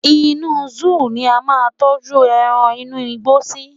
inú zoo ni a ma n tọju eran inú igbó sí